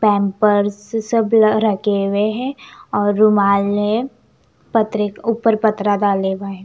Pampers सब ल रगे हुए है और रुमाल है पत्रे ऊपर पत्रा डाला हुआ है ।